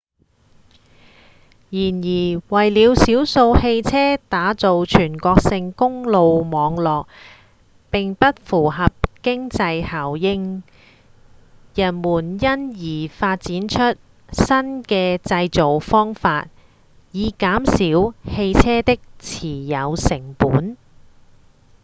然而為了少數汽車打造全國性公路網絡並不符合經濟效應人們因而發展出新的製造方法以減少汽車的持有成本